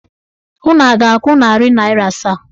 Unu a ga-akwụ narị naịra asaa?